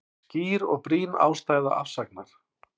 Skýr og brýn ástæða afsagnar